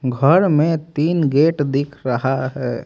घर में तीन गेट दिख रहा है।